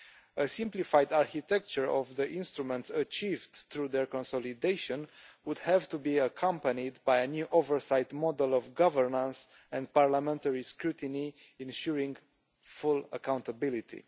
A simplified architecture of the instruments achieved through their consolidation would have to be accompanied by a new oversight model of governance and parliamentary scrutiny, ensuring full accountability.